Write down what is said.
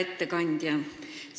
Hea ettekandja!